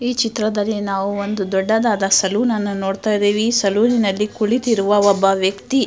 ಈ ಚಿತ್ರದಲ್ಲಿ ನಾವು ದೊಡ್ಡ ದಾದಾ ಸಲೂನ್ ಅನ್ನ ನೋಡ್ಥ ಇದ್ದಿವಿ ಸಲೂನ್ ನಲ್ಲಿ ಕುಳಿತಿದ್ದ ಒಬ್ಬ ವ್ಯಕ್ತಿ --